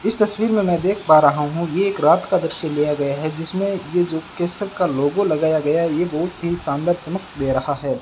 इस तस्वीर में मैं देख पा रहा हूं ये एक रात का दृश्य लिया गया है जिसमें ये जो केसर का लोगो लगाया गया है ये बहुत ही शानदार चमक दे रहा है।